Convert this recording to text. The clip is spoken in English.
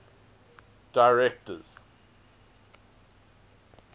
directors